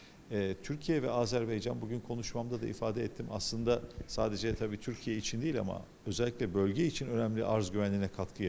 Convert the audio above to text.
Eee Türkiyə və Azərbaycan bu gün çıxışımda da ifadə etdim, əslində sadəcə təbii ki, Türkiyə üçün deyil, amma xüsusilə bölgə üçün önəmli təminat təhlükəsizliyinə qatqı edir.